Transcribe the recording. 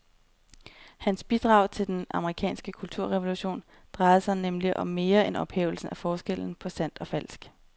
Hans bidrag til den amerikanske kulturrevolution drejede sig nemlig om mere end ophævelsen af forskellen på sandt og falsk.